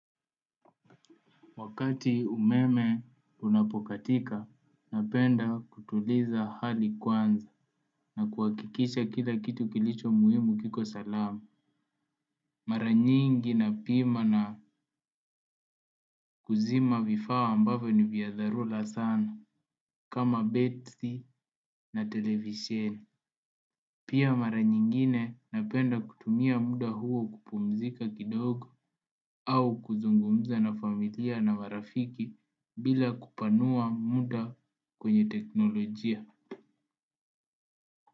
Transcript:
Wakati umeme unapokatika, napenda kutuliza hali kwanza na kuhakikisha kila kitu kilicho muhimu kiko salama. Mara nyingi napima na kuzima vifaa ambavyo ni vya dharura sana kama betri na televisheni. Pia mara nyingine napenda kutumia muda huo kupumzika kidogo au kuzungumza na familia na marafiki bila kupanua muda kwenye teknolojia.